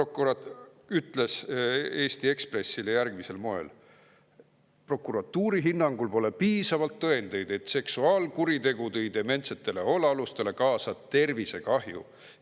Kes ütles Eesti Ekspressile järgmisel moel: "Prokuratuuri hinnangul pole piisavalt tõendeid, et seksuaalkuritegu tõi dementsetele hoolealustele kaasa tervisekahju.